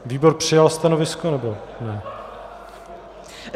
Výbor přijal stanovisko, nebo ne?